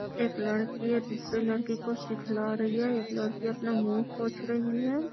एक लड़की है दूसरे लड़की को सिखला रही है एक लड़की अपना मुँह पोछ रही है।